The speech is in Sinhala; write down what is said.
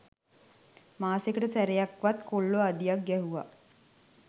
මාසෙකට සැරයක්වත් කොල්ලො අඩියක් ගැහුව